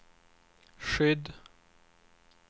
skydd